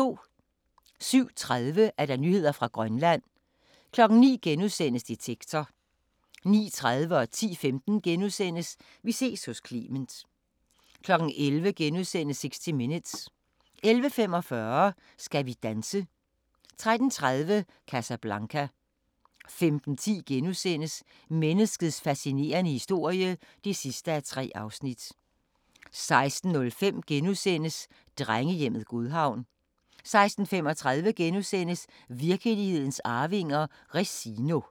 07:30: Nyheder fra Grønland 09:00: Detektor * 09:30: Vi ses hos Clement * 10:15: Vi ses hos Clement * 11:00: 60 Minutes * 11:45: Skal vi danse? 13:30: Casablanca 15:10: Menneskets fascinerende historie (3:3)* 16:05: Drengehjemmet Godhavn * 16:35: Virkelighedens arvinger: Resino *